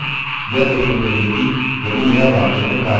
फिर हम एक पूर्ण जाँच करेंगे यह देखने के लिए यदि यह वाकई में कार्य कर रहा है